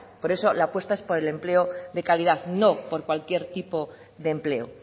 por eso la apuesta es por el empleo de calidad no por cualquier tipo de empleo